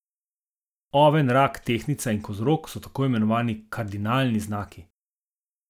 Oven, rak, tehtnica in kozorog so tako imenovani kardinalni znaki.